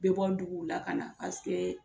Bɛ bɔ duguw la ka na paseke.